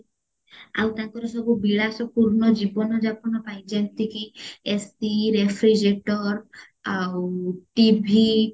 ଆଉ ତାଙ୍କର ସବୁ ବିଳାସ ପୂର୍ଣ ଜୀବନ ଯାପନ ପାଇଁ ଯେମତି କି AC refrigerator ଆଉ TV